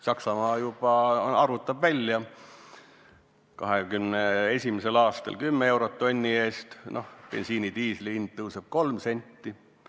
Saksamaa on juba välja arvutanud: 2021. aastal 10 eurot tonni eest, bensiini ja diislikütuse hind tõuseb 3 senti.